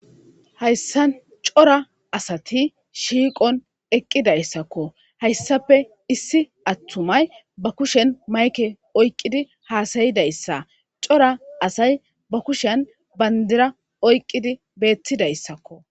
Hayssa cora asati shiiqon eqqidayssakko hayssafe issi attumay ba kushen mayke oyqqidi haasayidayssa cora asay ba kushen bandira oyqqidi beettidayssakko.